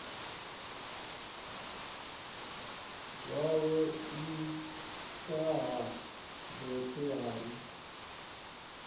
zwawe nṱtha ha mmbete hai